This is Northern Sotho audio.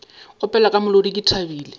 opela ka molodi ke thabile